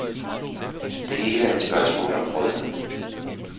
Det hele er et spørgsmål om brød.